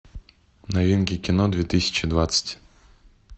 новинки кино две тысячи двадцать